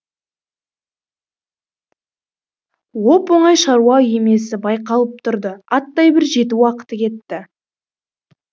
оп оңай шаруа емесі байқалып тұрды аттай бір жеті уақыты кетті